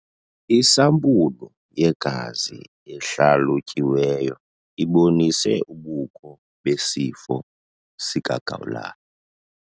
Isampulu yegazi ehlalutyiweyo ibonise ubukho besifo sikagawulayo.